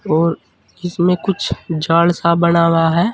और इसमें कुछ जाडसा बना हुआ है।